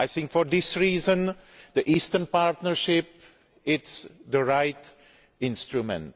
For this reason, the Eastern Partnership is the right instrument.